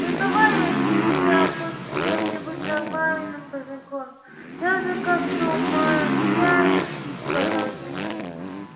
ну давай я тебя хоть с кем-нибудь нормальным познакомлю даже как-то умоляюще сказал сергей